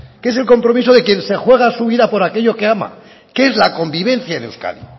que es el compromiso de quien se juega su vida por aquello que ama que es la convivencia en euskadi